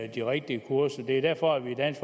de rigtige kurser det er derfor at vi i dansk